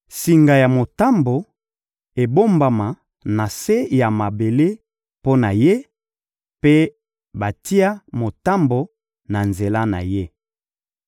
Singa ya motambo ebombama na se ya mabele mpo na ye, mpe batia motambo na nzela na ye.